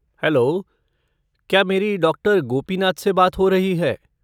Hello, क्या मेरी doctor Gopinath से बात हो रही है?